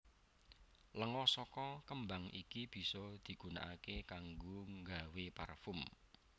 Lenga saka kembang iki bisa digunaaké kanggo nggawé parfum